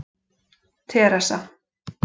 Teresa